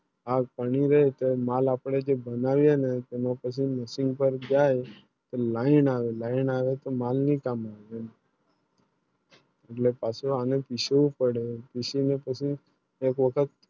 આ પાનની મેં જો માલ આપણે જે બનાવે ના તમે પછી Machine પાર જાય Line આવે Line આવે તો માલ ભી કમ